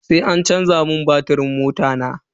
Sai an canza batirin mota na.